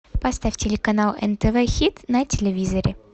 поставь телеканал нтв хит на телевизоре